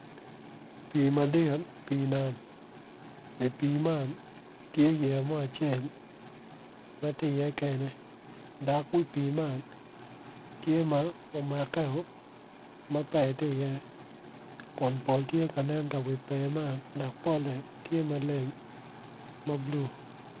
Pii madit pii nam i pii man tye yeya mo acel ma tye iye kekene dok wi pii man tye ma omakkeo ma pee ti iye kun pol ti ka nen ka wi pee man dok polle tye maleng ma bulu